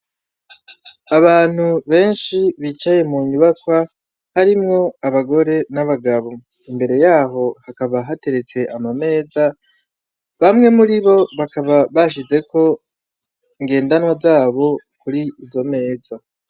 Abantu benshi bicaye mu nyubaka harimwo abagore n'abagabo imbere yaho hakaba hateretse ama meza bamwe muri bo bakaba bashizeko ngendanwa zabo kuri izo meza.